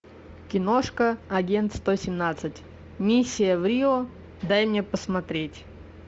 киношка агент сто семнадцать миссия в рио дай мне посмотреть